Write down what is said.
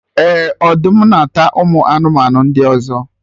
Eh! Ọdụm na-ata ụmụ anụmanụ ndị ọzọ